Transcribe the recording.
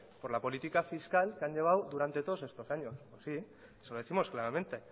por la política fiscal que han llevado durante todos estos años sí se lo décimos claramente